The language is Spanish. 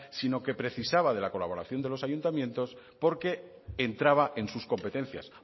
sino que precisaba de la colaboración de los ayuntamientos porque entraba en sus competencias